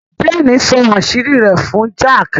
Jane nsọ àṣírí rẹ̀ fún Jack.